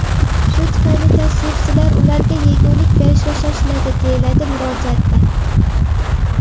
Shu tufayli tashrifchilar ularga yegulik berishga shoshiladi”, deyiladi murojaatda.